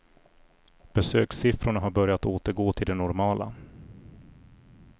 Besökssiffrorna har börjat återgå till det normala.